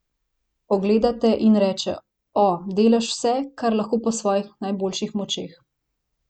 Pogleda te in reče: 'O, delaš vse, kar lahko po svojih najboljših močeh.